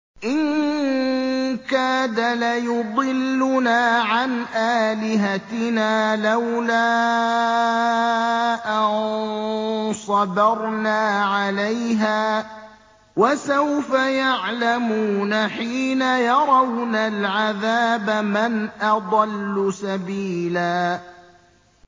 إِن كَادَ لَيُضِلُّنَا عَنْ آلِهَتِنَا لَوْلَا أَن صَبَرْنَا عَلَيْهَا ۚ وَسَوْفَ يَعْلَمُونَ حِينَ يَرَوْنَ الْعَذَابَ مَنْ أَضَلُّ سَبِيلًا